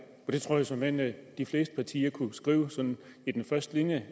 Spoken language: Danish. og det tror jeg såmænd de fleste partier kunne skrive i den første linje